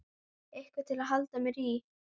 Eitthvað til að halda mér í.